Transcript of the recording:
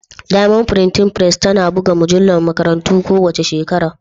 Diamond Printing Press tana buga mujallar makarantarmu kowace shekara.